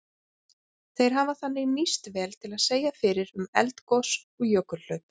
Þeir hafa þannig nýst vel til að segja fyrir um eldgos og jökulhlaup.